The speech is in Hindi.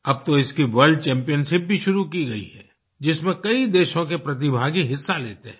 अब तो इसकी वर्ल्ड चैम्पियनशिप शुरू की गई है जिसमें कई देशों के प्रतिभागी हिस्सा लेते हैं